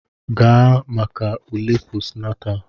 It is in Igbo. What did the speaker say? Gaa maka ule postnatal!